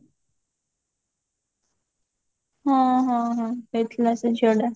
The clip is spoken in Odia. ହଁ ହଁ ହଁ କହିଥିଲା ସେ ଝିଅଟା